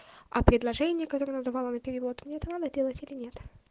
а предложение которое она давала на перевод мне это надо делать или нет